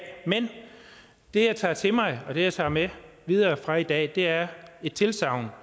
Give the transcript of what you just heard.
men det jeg tager til mig og det jeg tager med videre fra i dag er et tilsagn